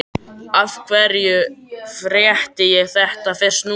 Af hverju frétti ég þetta fyrst núna?